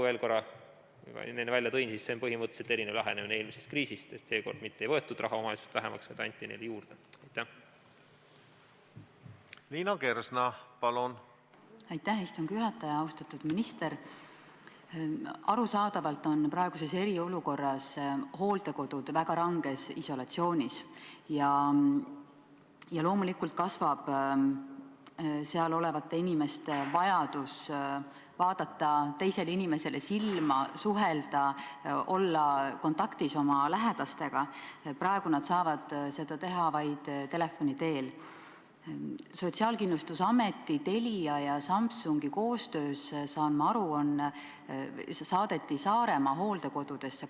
Veel korra, ma siin enne seda välja tõin, see on põhimõtteliselt eelmisest kriisist erinev lähenemine, seekord mitte ei võetud raha omavalitsustelt vähemaks, vaid anti neile juurde.